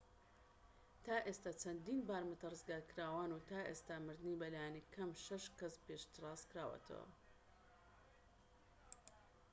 تا ئێستا چەندین بارمتە ڕزگارکراون و تا ئێستا مردنی بە لایەنی کەم شەش کەس پشتڕاستکراوەتەوە